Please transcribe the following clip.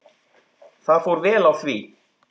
Það fór vel á því.